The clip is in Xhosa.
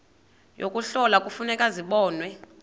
yokuhlola kufuneka zibonwe